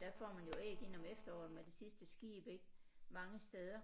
Der får man jo æg ind om efteråret med det sidste skib ik mange steder